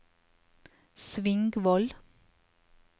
Svingvoll